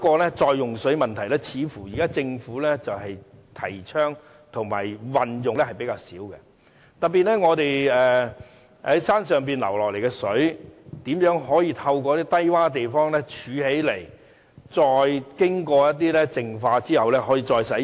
然而，似乎政府現在提倡和運用比較少的另一個再用水的問題，就是如何把山上流下來的水，透過低窪地方儲存起來，經過淨化後可以再使用？